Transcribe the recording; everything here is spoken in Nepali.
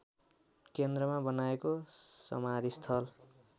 केन्द्रमा बनाइएको समाधिस्थल